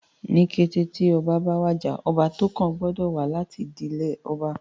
Ní kété tí ọba bá wàjà, ọba tó kàn gbọ́dọ̀ wá láti ìdílé ọba